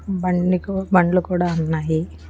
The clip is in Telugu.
బండికో బండ్లు కూడా ఉన్నాయి.